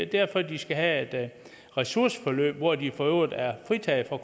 derfor de skal have et ressourceforløb hvor de for øvrigt er fritaget for